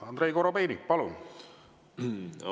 Andrei Korobeinik, palun!